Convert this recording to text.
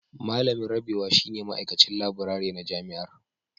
Malamin Rabewa shine Ma'aikacin Laburare na Jami'ar